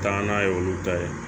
Taa n'a ye olu ta ye